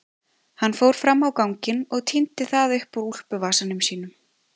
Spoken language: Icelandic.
Hann fór fram á ganginn og tíndi það upp úr úlpuvasanum sínum.